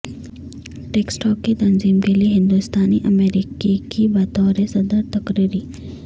Texas کی تنظیم کیلئے ہندوستانی امریکی کی بطور صدر تقرری